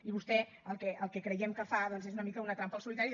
i vostè el que creiem que fa és una mica una trampa al solitari